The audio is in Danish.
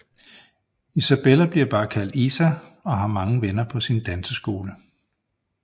Isabella bliver bare kaldt Isa og har mange venner på sin danseskole